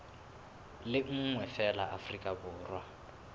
le nngwe feela afrika borwa